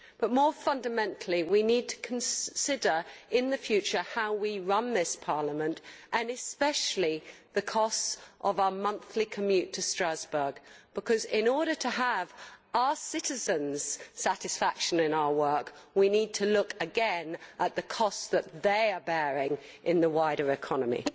But more fundamentally we need to consider in the future how we run this Parliament and especially the costs of our monthly commute to Strasbourg because in order to have our citizens' satisfaction in our work we need to look again at the costs that they are bearing in the wider economy.